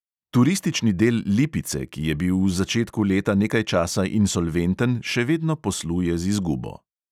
Turistični del lipice, ki je bil v začetku leta nekaj časa insolventen, še vedno posluje z izgubo.